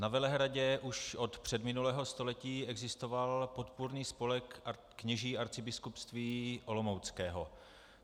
Na Velehradě už od předminulého století existoval Podpůrný spolek kněží Arcibiskupství olomouckého.